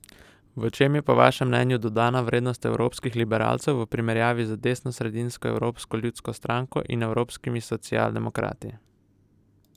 V čem je po vašem mnenju dodana vrednost evropskih liberalcev v primerjavi z desnosredinsko Evropsko ljudsko stranko in evropskimi socialdemokrati?